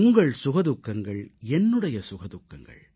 உங்கள் சுகதுக்கங்கள் என்னுடைய சுகதுக்கங்கள்